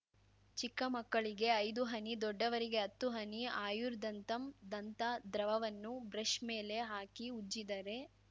ಚಿಕ್ಕಮಕ್ಕಳಿಗೆ ಐದು ಹನಿ ದೊಡ್ಡವರಿಗೆ ಹತ್ತು ಹನಿ ಆಯುರ್‌ ದಂತಮ್‌ ದಂತ ದ್ರವವನ್ನು ಬ್ರೆಶ್‌ ಮೇಲೆ ಹಾಕಿ ಉಜ್ಜಿದರೆ